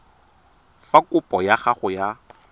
fa kopo ya gago ya